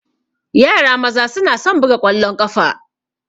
Yara maza na son buga ƙwallon ƙafa.